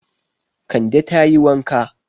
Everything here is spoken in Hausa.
Kande ta yi wanka.